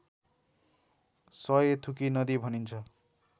सय थुकी नदी भनिन्छ